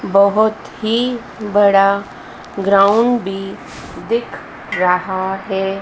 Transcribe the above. बहुत ही बड़ा ग्राउंड भी दिख रहा है।